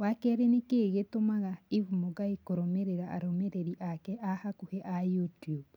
wa kerĩ nĩkĩĩ gĩtũmaga eve mũngai kũrũmĩrĩra arũmĩrĩri ake a hakuhi a YouTUBE